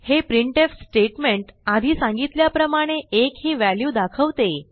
हे printf statement आधी सांगितल्याप्रमाणे 1 ही व्हॅल्यू दाखवते